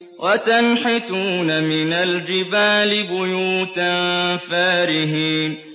وَتَنْحِتُونَ مِنَ الْجِبَالِ بُيُوتًا فَارِهِينَ